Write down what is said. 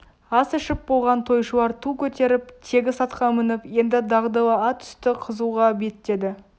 ас ішіп болған тойшылар ту көтеріп тегіс атқа мініп енді дағдылы ат үсті қызуға беттеді